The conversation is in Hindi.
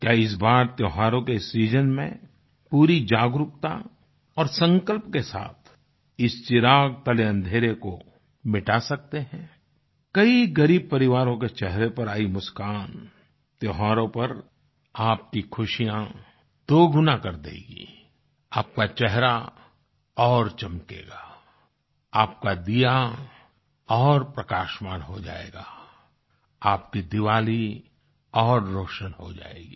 क्या इस बार त्योहारों के इस सीजन में पूरी जागरूकता और संकल्प के साथ इस चिराग तले अँधेरे को मिटा सकते हैं कई ग़रीब परिवारों के चेहरे पर आई मुस्कान त्योहारों पर आपकी खुशियाँ दोगुना कर देगी आपका चेहरा और चमकेगा आपका दिया और प्रकाशमान हो जाएगा आपकी दीवाली और रोशन हो जायेगी